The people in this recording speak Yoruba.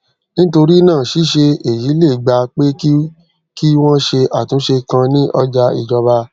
nítorí náà ṣíṣe èyí lè gba pé kí kí wón ṣe àtúnṣe kan ní ọjà ìjọba